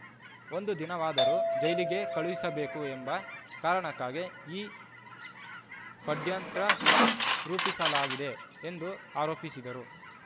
ಒಂದು ದಿನವಾದರೂ ಜೈಲಿಗೆ ಕಳುಹಿಸಬೇಕು ಎಂಬ ಕಾರಣಕ್ಕಾಗಿ ಈ ಪಡ್ಯಂತ್ರ ರೂಪಿಸಲಾಗಿದೆ ಎಂದು ಆರೋಪಿಸಿದರು